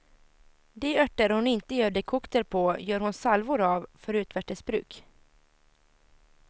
De örter hon inte gör dekokter på gör hon salvor av, för utvärtes bruk.